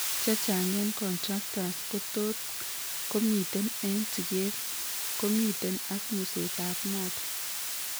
Chechang' eng' contractures kotot komiten eng' sikeet komiten ak museet ab motor